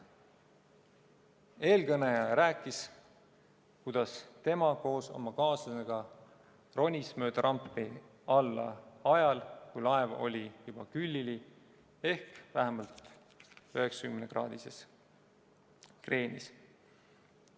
Eelkõneleja rääkis, kuidas tema koos oma kaaslasega ronis mööda rampi alla ajal, kui laev oli juba külili ehk vähemalt 90-kraadises kreenis.